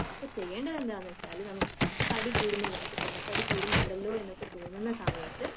അപ്പൊ ചെയ്യേണ്ടത് എന്താണെന്നു വെച്ചാൽ നമുക്കിപ്പൊ തടികൂടുന്നുണ്ടല്ലോ നമുക്കു പൊണ്ണത്തടി കൂടുന്നുണ്ടല്ലോ എന്ന് തോന്നുന്ന സമയത്തു